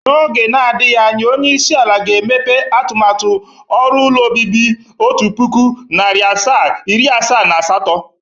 N'oge nadịghị anya, onyeisi ala ga-emepe atụmatụ ọrụ ụlọ obibi otu pụkụ, narị asaa, iri asaa na asatọ